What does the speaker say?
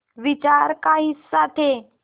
विचार का हिस्सा थे